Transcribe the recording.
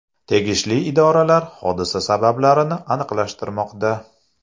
Tegishli idoralar hodisa sabablarini aniqlashtirmoqda.